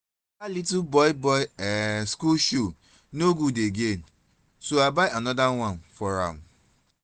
dat little boy boy um school shoe no good again so i buy another one for am